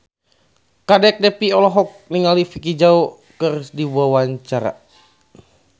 Kadek Devi olohok ningali Vicki Zao keur diwawancara